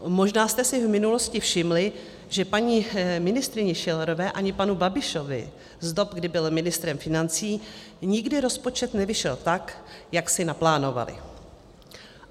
Možná jste si v minulosti všimli, že paní ministryni Schillerové ani panu Babišovi z dob, kdy byl ministrem financí, nikdy rozpočet nevyšel tak, jak si naplánovali.